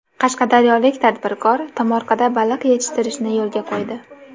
Qashqadaryolik tadbirkor tomorqada baliq yetishtirishni yo‘lga qo‘ydi.